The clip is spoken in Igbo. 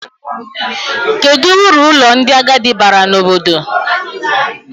Kedụ uru ụlọ ndị agadi baara n'obodo?